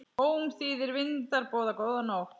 Ómþýðir vindar boða góða nótt.